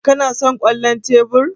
Kana son kwallon tebur?